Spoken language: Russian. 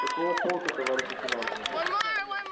какого полка товарищ лейтенант